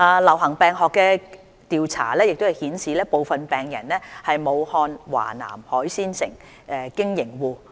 流行病學調查顯示，部分病人是武漢華南海鮮批發市場經營戶。